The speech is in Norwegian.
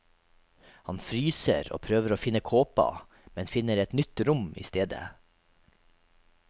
Hun fryser og prøver å finne kåpa, men finner et nytt rom i stedet.